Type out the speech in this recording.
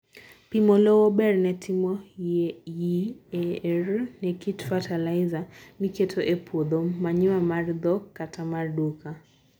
pimo lowo berr ne timo yieor ne kit fetilizer miketo epuodho. Manure mar dhok kata mar duka.